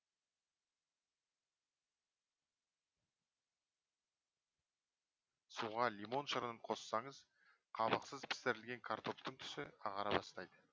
суға лимон шырынын қоссаңыз қабықсыз пісірілген картоптың түсі ағара бастайды